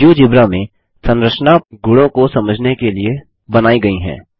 GeoGebra में संरचना के गुणों को समझने के लिए बनाई गई है